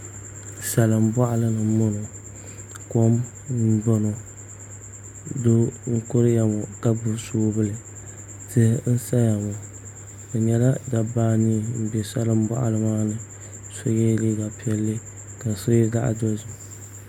Salin boɣali ni n boŋo kom n boŋo doo n kuriya ŋo ka gbuni soobuli tihi n saya ŋo bi nyɛla dabba anii n bɛ salin boɣali maa ni so yɛla liiga piɛlli ka so yɛ zaɣ dozim